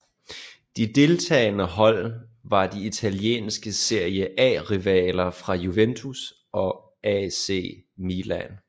De deltagende hold var de italienske Serie A rivaler fra Juventus og AC Milan